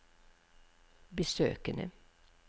besøkene